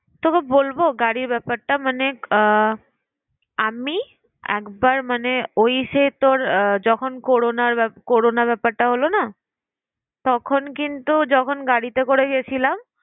তবু বলবো গাড়ির ব্যাপারটা মানে আহ আমি একবার মানে ওই সে তোর যখন করোনা ব্যাপার করোনার ব্যাপারটা হলো না তখন কিন্তু যখন গাড়িতে করে গেছিলাম